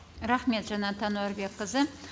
рахмет жанат әнуәрбекқызы